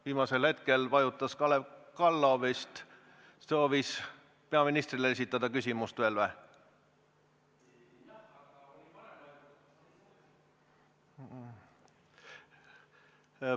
Viimasel hetkel vajutas nuppu Kalev Kallo, kes soovis ilmselt esitada veel küsimuse peaministrile.